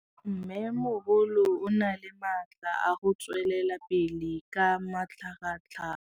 Mmêmogolo o na le matla a go tswelela pele ka matlhagatlhaga.